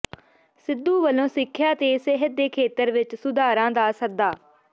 ਸਿੱਧੂ ਵੱਲੋਂ ਸਿੱਖਿਆ ਤੇ ਸਿਹਤ ਦੇ ਖੇਤਰ ਵਿਚ ਸੁਧਾਰਾਂ ਦਾ ਸੱਦਾ